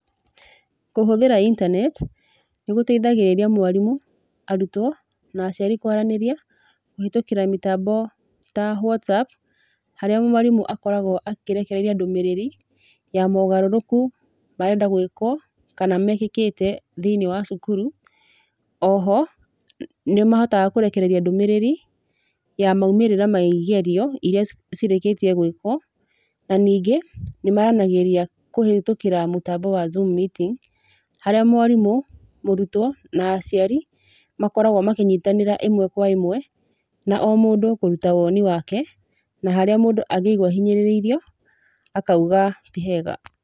Kũhũthĩra internet nĩgũteithagĩrĩria mwarimũ, arutwo na aciari kwaranĩria kũhĩtũkĩra mĩtambo ta, Whatsapp harĩa mwarimũ akoragwo akĩrekereria ndũmĩrĩri ya mogarũrũku marenda gũĩkwo kana mekĩkĩte thĩinĩ wa cukuru, oho nĩmahotaga kũrekereria ndũmĩrĩri ya maũmĩrĩra ya igerio iria cirĩkĩtio gũĩkwo na ningĩ nĩmaranagĩria kũhĩtũkĩra mũtambo wa zoom meeting, harĩa mwarimũ, mũrutwo na aciari makoragwa makĩnyitanĩra ĩmwe kwa ĩmwe na omũndũ kũruta woni wake na harĩa mũndũ angĩigua ahihĩnyĩrĩirio akauga ti hega.